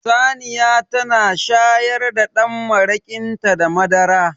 Saniya tana shayar da dan marakinta da madara